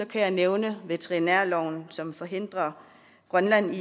kan jeg nævne veterinærloven som forhindrer grønland i